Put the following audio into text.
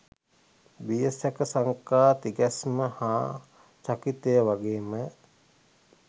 බිය, සැක, සංකා, තිගැස්ම හා චකිතය වගේම